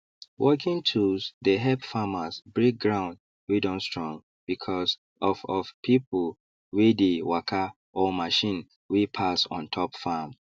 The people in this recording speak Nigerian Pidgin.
working tools dey help farmers break ground wey don strong because of of pipu wey dey waka or machine wey pass on top farm